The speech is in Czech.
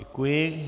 Děkuji.